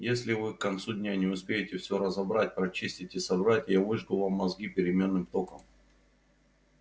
если вы к концу дня не успеете всё разобрать прочистить и собрать я выжгу вам мозги переменным током